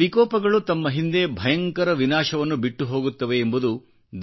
ವಿಕೋಪಗಳು ತಮ್ಮ ಹಿಂದೆ ಭಯಂಕರ ವಿನಾಶವನ್ನು ಬಿಟ್ಟುಹೋಗುತ್ತವೆ ಎಂಬುದು